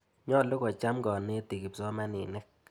Nyalu kocham kanetik kipsomaninik.